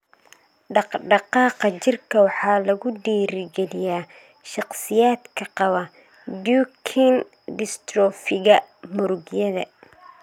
Dhaqdhaqaaqa jirka waxaa lagu dhiirigeliyaa shakhsiyaadka qaba Duchenne dystrophiga murugyada .